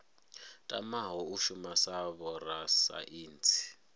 tamaho u shuma sa vhorasaintsi